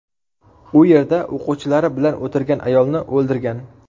U yerda o‘quvchilari bilan o‘tirgan ayolni o‘ldirgan.